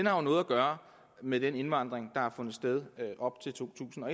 har noget at gøre med den indvandring der har fundet sted op til to tusind og